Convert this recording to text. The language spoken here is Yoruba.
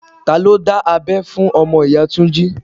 Ta ló dá abẹ́ fún ọmọ ìyá Túnjí?